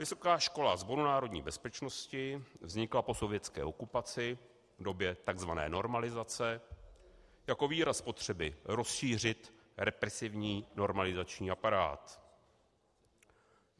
Vysoká škola Sboru národní bezpečnosti vznikla po sovětské okupaci v době tzv. normalizace jako výraz potřeby rozšířit represivní normalizační aparát.